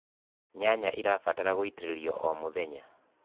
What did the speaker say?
nyanya irabatara gũitiririo o mũthenya